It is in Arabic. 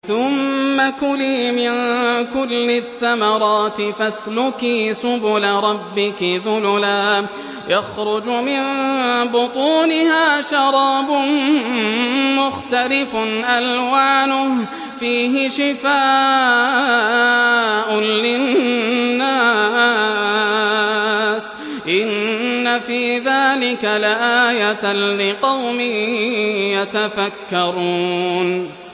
ثُمَّ كُلِي مِن كُلِّ الثَّمَرَاتِ فَاسْلُكِي سُبُلَ رَبِّكِ ذُلُلًا ۚ يَخْرُجُ مِن بُطُونِهَا شَرَابٌ مُّخْتَلِفٌ أَلْوَانُهُ فِيهِ شِفَاءٌ لِّلنَّاسِ ۗ إِنَّ فِي ذَٰلِكَ لَآيَةً لِّقَوْمٍ يَتَفَكَّرُونَ